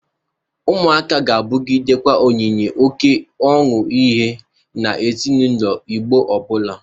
Ụmụaka ga-abụgidekwa onyinye oke ọnụ ahịa na ezinaụlọ Igbo ọbụla.